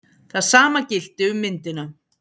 Það sama gilti um myndina.